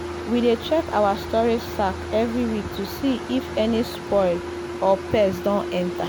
we dey check our storage sack every week to see if any spoil or pest don enter.